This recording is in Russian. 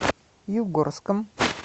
югорском